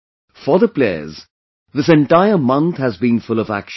For the players, this entire month has been full of action